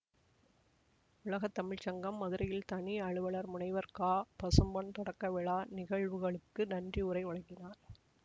உலக தமிழ் சங்கம் மதுரையில் தனி அலுவலர் முனைவர் கபசும்பொன் தொடக்கவிழா நிகழ்வுகளுக்கு நன்றியுரை வழங்கினார்